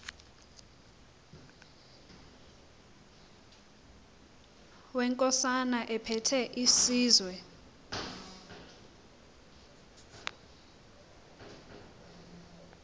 wenkosana ephethe isizwe